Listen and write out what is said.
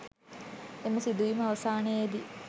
එම සිදුවීම අවසානයේදී